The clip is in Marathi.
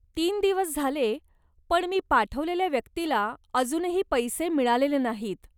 तीन दिवस झाले, पण मी पाठवलेल्या व्यक्तीला अजूनही पैसे मिळालेले नाहीत.